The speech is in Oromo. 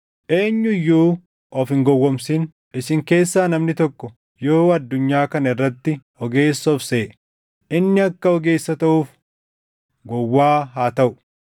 Eenyu iyyuu of hin gowwoomsin. Isin keessaa namni tokko yoo addunyaa kana irratti ogeessa of seʼe, inni akka ogeessa taʼuuf gowwaa haa taʼu.